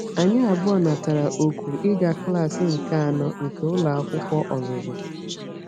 Anyị abụọ natara oku ịga klaas nke anọ nke ụlọ akwụkwọ ọzụzụ.